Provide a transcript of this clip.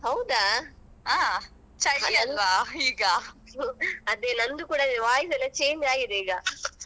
ಹೌದಾ?